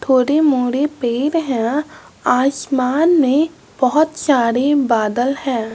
थोड़े मोरे पेर है आसमान में बहुत सारे बादल हैं।